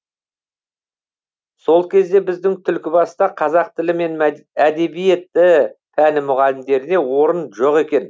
сол кезде біздің түлкібаста қазақ тілі мен әдебиеті пәні мұғалімдеріне орын жоқ екен